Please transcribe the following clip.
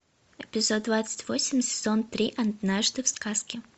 эпизод двадцать восемь сезон три однажды в сказке